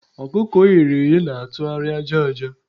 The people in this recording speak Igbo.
ọkụkọ e ghere eghe na-atụgharị aja aja.